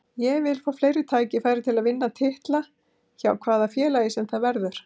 Ég vil fá fleiri tækifæri til að vinna titla, hjá hvaða félagi sem það verður.